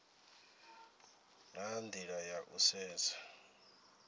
na nila ya u sedza